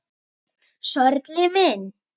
Sörli minn!